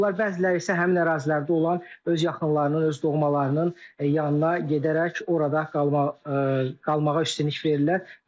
Bəziləri isə həmin ərazilərdə olan öz yaxınlarının, öz doğmalarının yanına gedərək orada qalmağa üstünlük verirlər.